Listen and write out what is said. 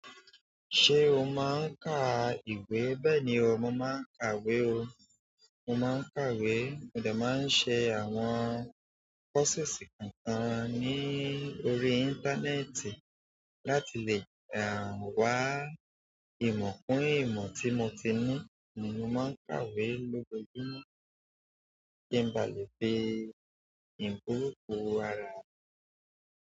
Ṣé o máa ń ka ìwé? Bẹ́ẹ̀ni, mo máa ń kàwé o. Mo máa ń kàwé, mo dà máa ń ṣe àwọn process kan kan ní orí íńtánẹ́ẹ̀tì láti lè wá ìmọ̀ kún ìmọ̀ tí mo ti ní ni mo máa ń kàwé lójoojúmọ́ kí n ba lè fi ìbùkún ara.